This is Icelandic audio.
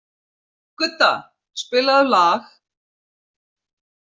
Gudda, spilaðu lag.